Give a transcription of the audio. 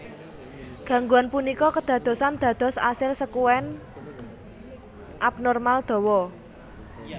Gangguan punika kédadosan dados asil sèkuèn abnormal dhawa